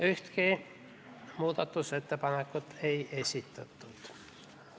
Ühtegi muudatusettepanekut ei esitatud.